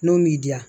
N'o m'i diya